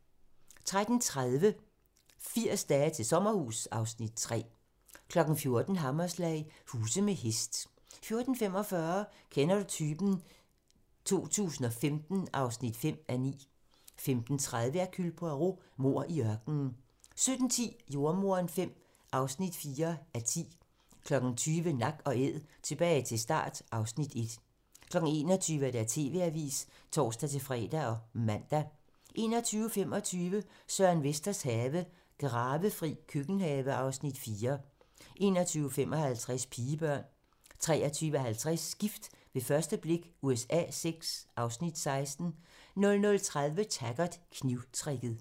14:00: Hammerslag - huse med hest 14:45: Kender du typen? 2015 (5:9) 15:30: Hercule Poirot: Mord i ørkenen 17:10: Jordemoderen V (4:10) 20:00: Nak & Æd - tilbage til start (Afs. 1) 21:00: TV-avisen (tor-fre og man) 21:25: Søren Vesters have - Gravefri køkkenhave (Afs. 4) 21:55: Pigebørn 23:50: Gift ved første blik USA VI (Afs. 16) 00:30: Taggart: Knivtricket